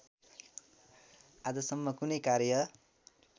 आजसम्म कुनै कार्य